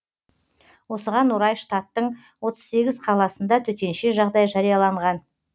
осыған орай штаттың отыз сегіз қаласында төтенше жағдай жарияланған